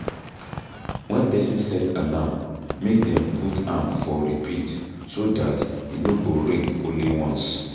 When person set alarm make dem put am for repeat so dat e no go ring only ones